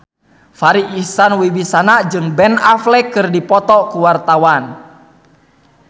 Farri Icksan Wibisana jeung Ben Affleck keur dipoto ku wartawan